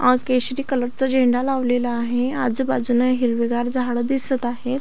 अ केशरी कलर चा झेंडा लावलेला आहे. आजुबाजूनं हिरवीगार झाडं दिसत आहेत.